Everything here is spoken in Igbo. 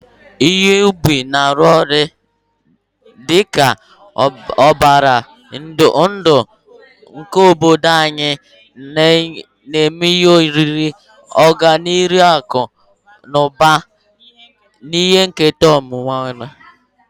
Ihe ubi na-arụ ọrụ dị ka ọbara ndụ nke obodo anyị, na-enye ihe oriri, ọganihu akụ na ụba, na ihe nketa omenala.